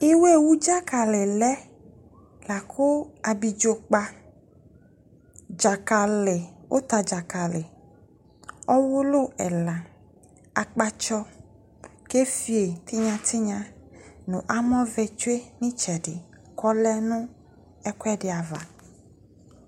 iwɛ wu dzakali lɛ lakʋ abidzokpa dzakali, ʋtadzakali ɔwʋlʋ ɛla, akpatsɔ kefioyi tinyatinya nʋ amɔvɛ tsue n'itsɛɖi le nʋ ɛkuɛɖi ava